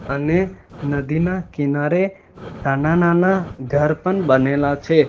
અને નદીના કિનારે નાના નાના ઘર પણ બનેલા છે.